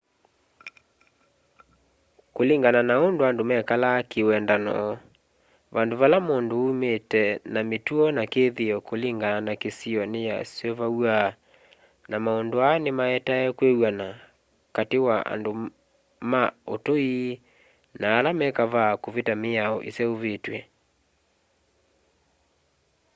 kũlĩngana na ũndũ andũ mekalaa kĩwendano vandũ vala mũndũ ũmĩte na mĩtũo na kĩthĩo kũlĩngana na kĩsĩo nĩyasũvaw'a na maũndũ aa nĩmaetae kwĩw'anakatĩ wa andũ ma ũtũĩ na ala me kavaa kũvita mĩao ĩseũvĩtwe